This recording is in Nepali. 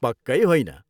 पक्कै होइन!